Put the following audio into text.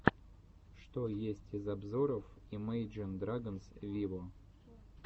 что есть из обзоров имейджин драгонс виво